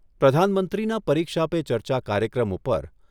પ્રધાનમંત્રીના પરીક્ષા પે ચર્ચા કાર્યક્રમ ઉપર